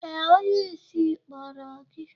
Ee, onyeisi kpọrọ gi.